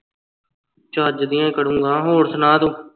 ਚੱਜ ਦੀਆਂ ਹੀ ਕਰੂੰਗਾ ਹੋਰ ਸੁਣਾ ਤੂੰ